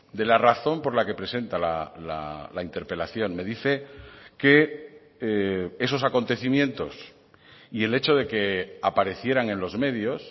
de la razón por la que presenta la interpelación me dice que esos acontecimientos y el hecho de que aparecieran en los medios